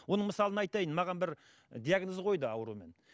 оның мысалы айтайын маған бір диагноз қойды аурумен